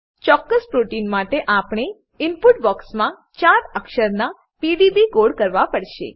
ચોક્કસ પ્રોટીન માટે આપણે ઈનપુટ બોક્સમાં ચાર અક્ષર ના પીડીબી કોડ કરવા પડશે